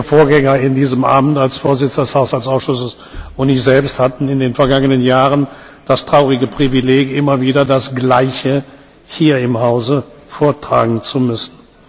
Ihr Vorgänger in diesem Amt als Vorsitzender des Haushaltsausschusses und ich selbst hatten in den vergangenen Jahren das traurige Privileg, immer wieder das Gleiche hier im Haus vortragen zu müssen.